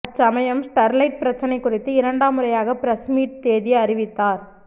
அச்சமயம் ஸ்டெர்லைட் பிரச்சனை குறித்து இரண்டாம் முறையாக பிரஸ்மீட் தேதி அறிவித்தார்